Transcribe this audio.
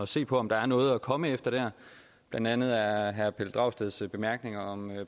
se på om der er noget at komme efter blandt andet er herre pelle dragsteds bemærkninger om